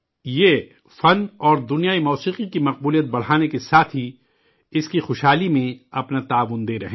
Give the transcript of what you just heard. یہ فن و موسیقی کی دنیا کی مقبولیت کو آگے بڑھانے کے ساتھ ہی اسے تقویت بخشنے میں اپنا تعاون دے رہے ہیں